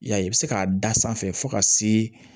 I y'a ye i bɛ se k'a da sanfɛ fo ka se